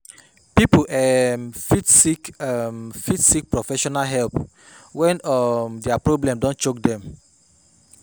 Pipo um fit seek um fit seek professional help when um their problem don choke them